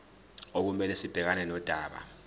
okumele sibhekane nodaba